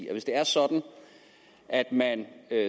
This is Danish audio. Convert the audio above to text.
at hvis det er sådan at man